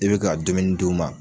I bɛ ka dumuni d'u ma.